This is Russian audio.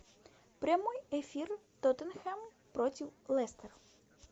прямой эфир тоттенхэм против лестер